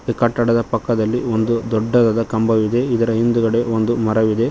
ಮತ್ತು ಕಟ್ಟಡದ ಪಕ್ಕದಲ್ಲಿ ಒಂದು ದೊಡ್ಡದಾದ ಕಂಬವಿದೆ ಇದರ ಹಿಂದ್ಗಡೆ ಒಂದು ಮರವಿದೆ.